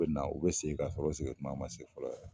na u bɛ segin k'a sɔrɔ u segin tuma man se fɔlɔ yɛrɛ.